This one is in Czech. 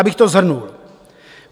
Abych to shrnul.